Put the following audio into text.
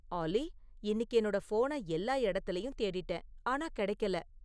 ஆல்லி, இன்னிக்கு என்னோட ஃபோன எல்லா எடத்திலயும் தேடிட்டேன் ஆனா கெடைக்கல